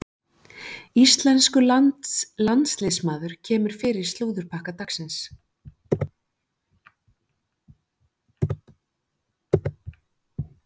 Íslenskur landsliðsmaður kemur fyrir í slúðurpakka dagsins.